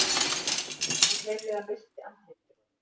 Hún hreinlega missti andlitið.